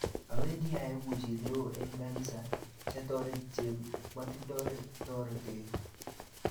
Awandi aeku chi neo eng kanisa siatoret che matindo toretet